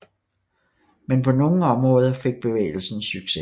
Men på nogle områder fik bevægelsen succes